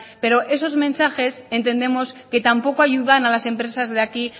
pero esos mensajes entendemos que tampoco ayudan a las empresas se aquí